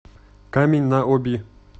камень на оби